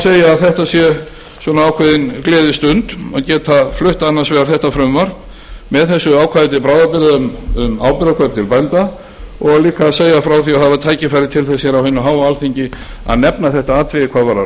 segja að þetta sé ákveðin gleðistund að geta flutt annars vegar þetta frumvarp með þessu ákvæði til bráðabirgða um áburðarkaup til bænda og líka að segja frá því að fá tækifæri til þess á hinu háa alþingi að nefna þetta atriði hvað varðar